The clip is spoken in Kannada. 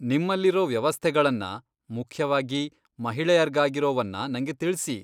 ನಿಮ್ಮಲ್ಲಿರೋ ವ್ಯವಸ್ಥೆಗಳನ್ನ , ಮುಖ್ಯವಾಗಿ ಮಹಿಳೆಯರ್ಗಾಗಿರೋವನ್ನ ನಂಗೆ ತಿಳ್ಸಿ.